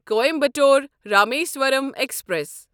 Coimbatore Rameswaram express